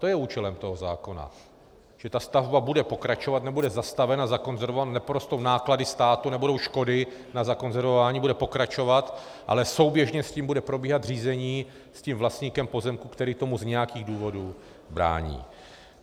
To je účelem toho zákona, že ta stavba bude pokračovat, nebude zastavena, zakonzervována, neporostou náklady státu, nebudou škody na zakonzervování, bude pokračovat, ale souběžně s tím bude probíhat řízení s tím vlastníkem pozemku, který tomu z nějakých důvodů brání.